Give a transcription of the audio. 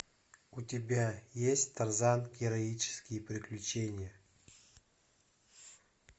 у тебя есть тарзан героические приключения